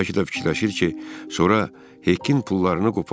Bəlkə də fikirləşir ki, sonra Hekin pullarını qopardar.